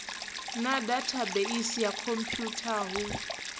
na dathabeisi ya khomphwutha hu